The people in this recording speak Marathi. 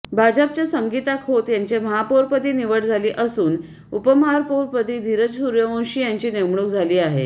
भाजपच्या संगीता खोत यांची महापौरपदी निवड झाली असून उपमहापौरपदी धीरज सूर्यवंशी यांची नेमणूक झाली आहे